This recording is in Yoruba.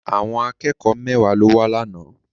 Àwọn akẹ́kọ̀ọ́ mẹ́wàá ló wá lánàá.